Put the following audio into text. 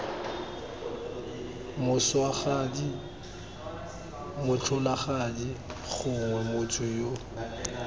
moswagadi motlholagadi gongwe motho yo